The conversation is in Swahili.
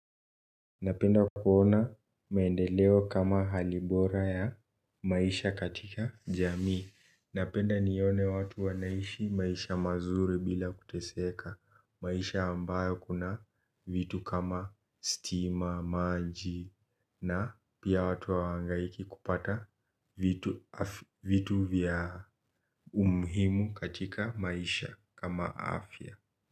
Napenda kuona maendeleo kama hali bora ya maisha katika jamii, napenda nione watu wanaishi maisha mazuri bila kuteseka, maisha ambayo kuna vitu kama stima, maji, na pia watu hawa hangaiki kupata vitu vitu vya umuhimu katika maisha kama afya.